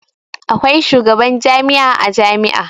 Akwai shugaban jami'a a jami'a.